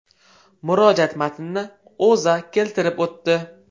Murojaat matnini O‘zA keltirib o‘tdi .